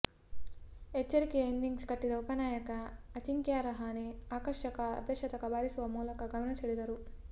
ಎಚ್ಚರಿಕೆಯ ಇನ್ನಿಂಗ್ಸ್ ಕಟ್ಟಿದ ಉಪನಾಯಕ ಅಜಿಂಕ್ಯ ರಹಾನೆ ಆಕರ್ಷಕ ಅರ್ಧಶತಕ ಬಾರಿಸುವ ಮೂಲಕ ಗಮನ ಸೆಳೆದರು